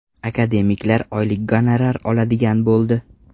Akademiklar oylik gonorar oladigan bo‘ldi.